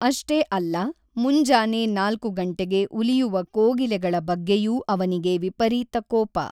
ಅಷ್ಟೇ ಅಲ್ಲ, ಮುಂಜಾನೆ ೪ ಗಂಟೆಗೆ ಉಲಿಯುವ ಕೋಗಿಲೆಗಳ ಬಗ್ಗೆಯೂ ಅವನಿಗೆ ವಿಪರೀತ ಕೋಪ.